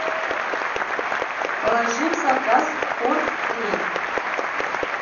положи в заказ торт рейк